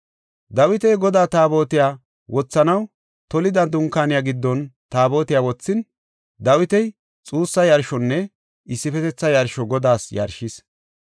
Dawiti Godaa Taabotiya wothanaw tolida dunkaaniya giddon Taabotiya wothin, Dawiti xuussa yarshonne issifetetha yarsho Godaas yarshis.